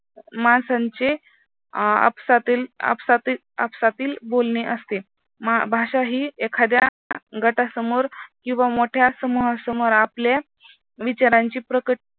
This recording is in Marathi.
माणसांचे आपसातील बोलणे असते भाषा ही एखाद्या गटासमोर किंवा मोठ्या समूहासमोर आपल्या विचारांची